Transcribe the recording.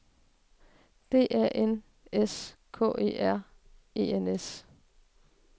D A N S K E R E N S